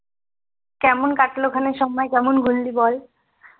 কেমন কাটলো ওখানে সময় কেমন ঘুরলি বল